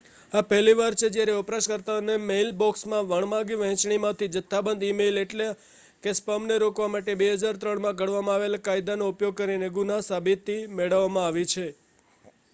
આ પહેલી વાર છે જ્યારે વપરાશકર્તાઓના મેઇલબોક્સમાં વણમાગી વહેંચણીમાંથી જથ્થાબંધ ઇ-મેઇલ એટલ કે સ્પામને રોકવા માટે 2003માં ઘડવામાં આવેલા કાયદાનો ઉપયોગ કરીને ગુના-સાબિતી મેળવવામાં આવી છે